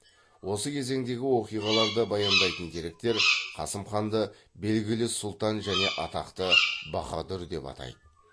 осы кезеңдегі оқиғаларды баяндайтын деректер қасым ханды белгілі сұлтан және атақты баһадүр деп атайды